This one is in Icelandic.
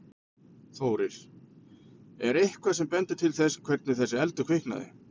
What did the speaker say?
Þórir: Er eitthvað sem bendir til þess hvernig þessi eldur kviknaði?